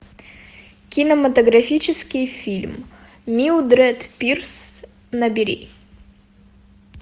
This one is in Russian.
кинематографический фильм милдред пирс набери